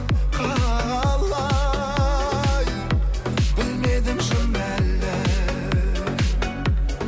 қалай білмедім шын әлі